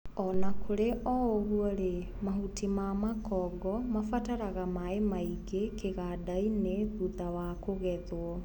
Onakũrĩ oũguorĩ mahuti mamakongo mabataraga maĩ maingĩ kĩgandainĩ thutha wa kũgethwo.